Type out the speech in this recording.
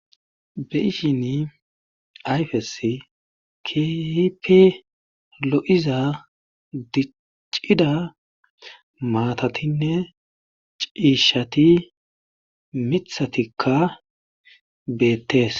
Be'ishini ayfesi kehipe lo'iza dicida matatine cishati mithatika betes